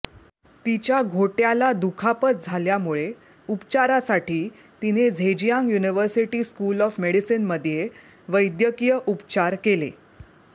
तिच्या घोट्याला दुखापत झाल्यामुळे उपचारासाठी तिने झेजियांग युनिव्हर्सिटी स्कूल ऑफ मेडिसिनमध्ये वैद्यकीय उपचार केले